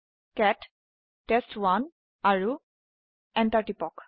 কেট test আৰু enter টিপক